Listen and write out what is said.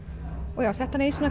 og setti hana í